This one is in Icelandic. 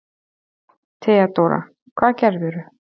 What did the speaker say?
THEODÓRA: Hvað gerðirðu?